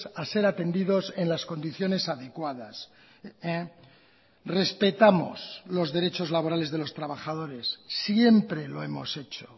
a ser atendidos en las condiciones adecuadas respetamos los derechos laborales de los trabajadores siempre lo hemos hecho